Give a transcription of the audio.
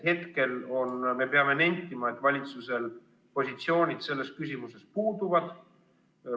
Praegu me peame nentima, et valitsusel positsioon selles küsimuses puudub.